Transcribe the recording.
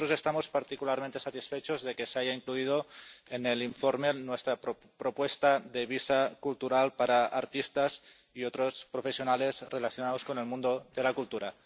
Nosotros estamos particularmente satisfechos de que se haya incluido en el informe nuestra propuesta de un visado cultural para artistas y otros profesionales relacionados con el mundo de la cultura.